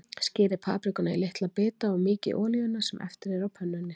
Skerið paprikuna í litla bita og mýkið í olíunni sem eftir er á pönnunni.